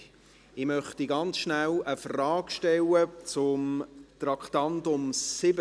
Ich möchte noch kurz eine Frage stellen zum Traktandum 70.